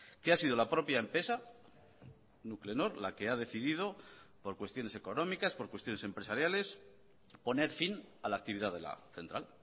que ha sido la propia empresa nuclenor la que ha decidido por cuestiones económicas por cuestiones empresariales poner fin a la actividad de la central